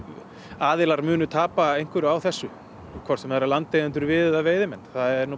aðilar munu tapa að einhverju á þessu hvort sem eru landeigendur við eða veiðimenn það er